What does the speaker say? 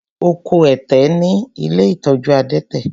Ó kó ẹ̀tẹ̀ ní ilé ìtọ́jú adẹ́tẹ̀.